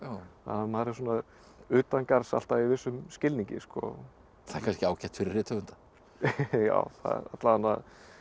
maður er svona utangarðs alltaf í vissum skilningi það er kannski ágætt fyrir rithöfunda já alla vegana